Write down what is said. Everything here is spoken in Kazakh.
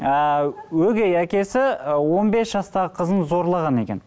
ыыы өгей әкесі ы он бес жастағы қызын зорлаған екен